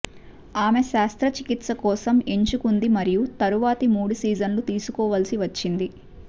ఆమె శస్త్రచికిత్స కోసం ఎంచుకుంది మరియు తరువాతి మూడు సీజన్లు తీసుకోవలసి వచ్చింది